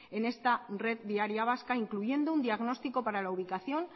en esta red viaria vasca incluyendo un diagnostico para la ubicación